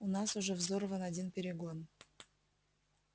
у нас уже взорван один перегон